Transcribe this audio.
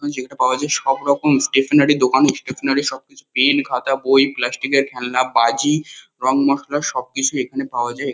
যেখানে পাওয়া যায় সব রকম স্টেশনারি দোকান স্টেশনারি সব কিছু পেন খাতা বই প্লাস্টিক -এর খেলনা বাজি রং মশলা সব কিছু এখানে পাওয়া যায়।